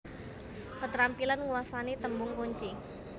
Ketrampilan nguasani tembung kunci